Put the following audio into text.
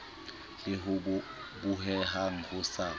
le ho bohehang ho sa